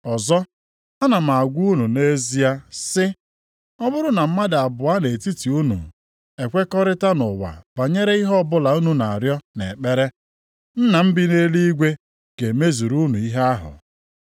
“Ọzọ, ana m agwa unu nʼezie a sị, ọ bụrụ na mmadụ abụọ nʼetiti unu ekwekọrịta nʼụwa banyere ihe ọbụla unu na-arịọ nʼekpere Nna m bi nʼeluigwe ga-emezuru unu ihe ahụ.